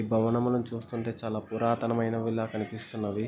ఈ భవనమును చూస్తుంటే చాలా పురాతనమైనవి లా కనిపిస్తున్నవి.